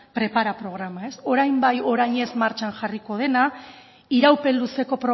prepara programa orain bai orain ez martxan jarriko dena iraupen luzeko